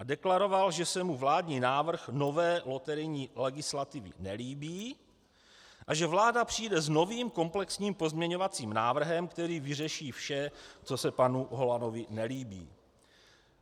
A deklaroval, že se mu vládní návrh nové loterijní legislativy nelíbí a že vláda přijde s novým komplexním pozměňovacím návrhem, který vyřeší vše, co se panu Holanovi nelíbí.